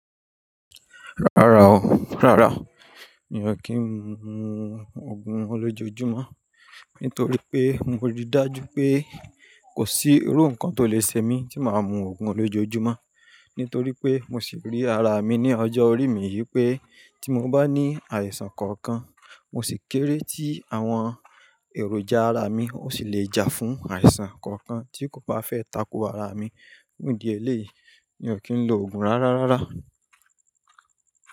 Rárá o, rárá mi ò kí ń mu òogùn lójoojúmọ́ nítorí pé mo rí dájú pé kò sí irú nǹkan tó lè ṣẹ mí tí màá mu òogùn lójoojúmọ́. Nítorí pé mo sì rí ara mi ní ọjọ́ orí mi yìí pé tí mo bá ní àìsàn kankan mo sì kéré tí àwọn èròjà ara mi ó sì lè jà fún àìsàn kankan tí kò bá fẹ́ ta ko ara mi. Fun ìdí eléyìí mi ò kí ń lo òogùn rárá rárá.